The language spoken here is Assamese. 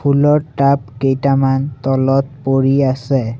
ফুলৰ টাব কেইটামান তলত পৰি আছে।